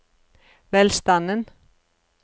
velstanden